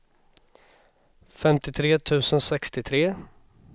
femtiotre tusen sextiotre